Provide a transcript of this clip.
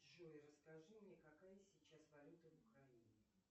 джой расскажи мне какая сейчас валюта в украине